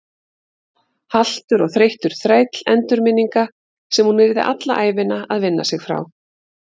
Haltur og þreyttur þræll endurminninga sem hún yrði alla ævina að vinna sig frá.